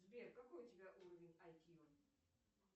сбер какой у тебя уровень айкью